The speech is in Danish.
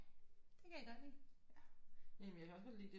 Det kan jeg godt lide